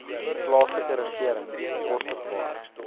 plaaslike regering bekostigbare